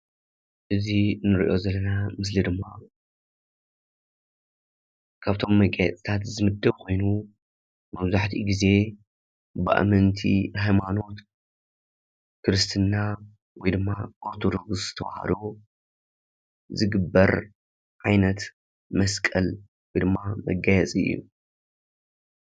እዚ ንርኦ ዘለና ምስሊ ድማ ካብቶም መጋየፅታት ዝምደብ ኮይኑ መብዛሕቱኡ ግዜ ብኣመንቲ ሃይማኖት ክርስትና ወይድማ ኦርቶዶክስ ተዋህዶ ዝግበር ዓይነት መስቀል ወይድማ መጋየፂ እዩ።